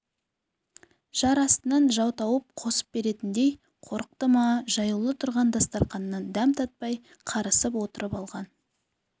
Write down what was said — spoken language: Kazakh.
жар астынан жау тауып қосып беретіндей қорықты ма жаюлы тұрған дастарқаннан дәм татпай қарысып отырып алған